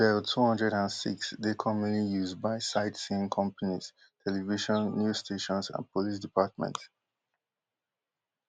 di bell two hundred and six dey commonly used by sightseeing companies television new stations and police departments